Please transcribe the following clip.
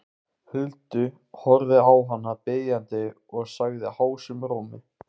Huldu, horfði á hana biðjandi og sagði hásum rómi